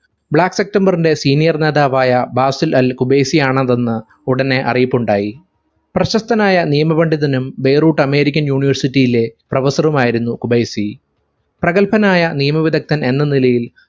black september ന്റെ senior നേതാവായ Basil al Khubaisi ആണ് അതെന്ന് ഉടനെ അറിയിപ്പുണ്ടായി പ്രശസ്തനായ നിയമപണ്ഡിതനും ബെയ്‌റൂട്ട് american university യിലെ professor ഉം ആയിരുന്നു ഖുബൈസി പ്രഗൽഭനായ നിയമവിരുദ്ധൻ എന്ന നിലയിൽ